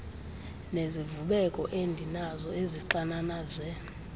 nezivubeko endinazo ezixananaze